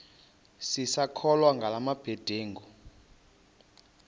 sisakholwa ngala mabedengu